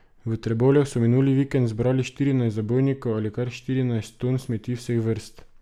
V Trbovljah so minuli vikend zbrali štirinajst zabojnikov ali kar štirinajst ton smeti vseh vrst.